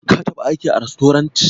Ka taɓa aiki a rastorant?